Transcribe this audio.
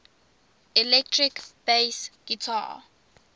electric bass guitar